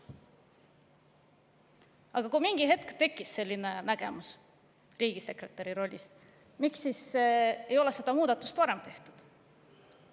Aga kui mingi hetk tekkis selline nägemus riigisekretäri rollist, miks siis ei ole seda muudatust varem tehtud?